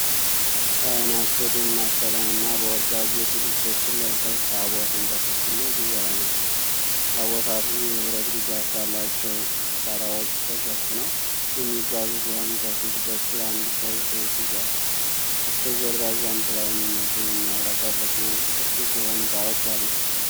ካህናት በደማቅ ቀለምና በወርቅ ያጌጡ ልብሶችን ለብሰው ታቦትን ተሸክመው ጉዞ ላይ ናቸው። ታቦታቱ የብረት ድጋፍ ባላቸው በጣራዎች ተሸፍነው የሚጓዙ ሲሆን ከፊት በኩል አንድ ሰው ሰይፍ ይዟል። በስተጀርባ ዣንጥላ የሚመስሉ የሚያብረቀርቁ ቅዱስ የሆኑ እቃዎች አሉ።